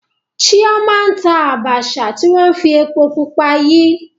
Chioma n ta Abacha ti wọn fi epo pupa yi.